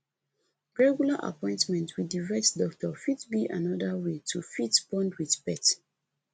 regular appointment with di vet doctor fit be anoda wey to fit bond with pet